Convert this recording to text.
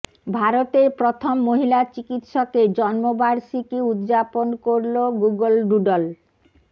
ভারতের প্রথম মহিলা চিকিৎসকের জন্মবার্ষিকী উদযাপন করল গুগল ডুডল